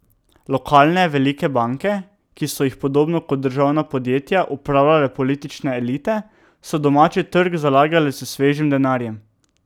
Lokalne velike banke, ki so jih podobno kot državna podjetja upravljale politične elite, so domači trg zalagale s svežim denarjem.